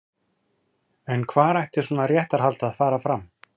En hvar ætti svona réttarhald að fara fram?